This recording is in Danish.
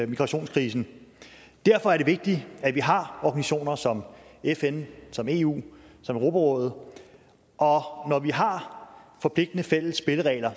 migrationskrisen derfor er det vigtigt at vi har organisationer som fn som eu som europarådet og når vi har forpligtende fælles spilleregler